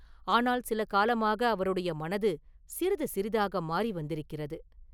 ஆனால் சில காலமாக அவருடைய மனது சிறிது சிறிதாக மாறி வந்திருக்கிறது.